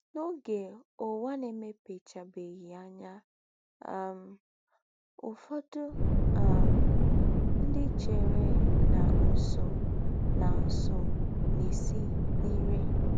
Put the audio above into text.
N’ọge ụwa na - emepechabeghị anya um, ụfọdụ um ndị chere na nsụ na nsụ na - esi n’ire.